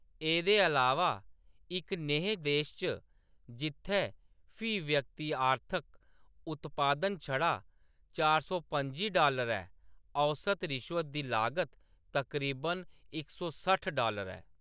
एह्‌‌‌दे अलावा, इक नेहे देश च जित्थै फी व्यक्ति आर्थिक उत्पादन छड़ा चार सौ पं'जी डालर ऐ, औस्त रिश्वत दी लागत तकरीबन इक सौ सट्ठ डालर ऐ